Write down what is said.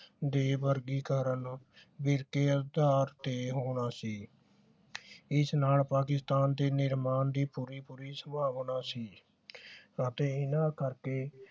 ਦੇ ਵਰਗੀਕਰਨ ਦੇ ਅਧਾਰ ਤੇ ਹੋਣਾ ਸੀ ਇਸ ਨਾ ਪਾਕਿਸਤਾਨ ਦੇ ਨਿਰਮਾਣ ਦੀ ਪੂਰੀ ਪੂਰੀ ਸੰਭਾਵਨਾ ਸੀ ਅਤੇ ਇਹਨਾਂ ਕਰਕੇ